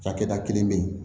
Cakɛda kelen be yen